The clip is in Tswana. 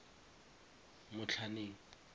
motlhaneng